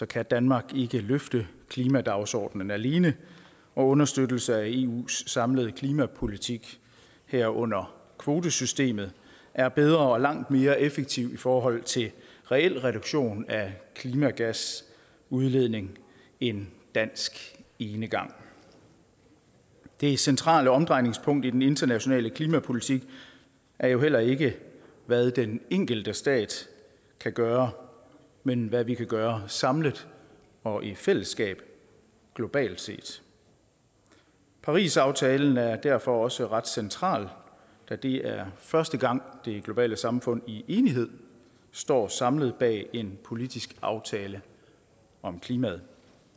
kan danmark ikke løfte klimadagsordenen alene og understøttelse af eus samlede klimapolitik herunder kvotesystemet er bedre og langt mere effektivt i forhold til en reel reduktion af klimagasudledning end dansk enegang det centrale omdrejningspunkt i den internationale klimapolitik er jo heller ikke hvad den enkelte stat kan gøre men hvad vi kan gøre samlet og i fællesskab globalt set parisaftalen er derfor også ret central da det er første gang at det globale samfund i enighed står samlet bag en politisk aftale om klimaet